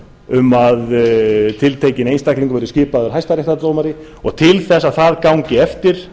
um að tiltekinn einstaklingur verði skipaður hæstaréttardómari og til þess að það gangi eftir